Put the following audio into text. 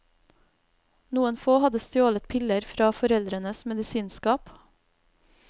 Noen få hadde stjålet piller fra foreldrenes medisinskap.